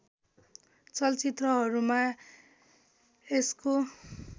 चलचित्रहरूमा यसको